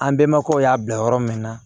An bɛnbakɛw y'a bila yɔrɔ min na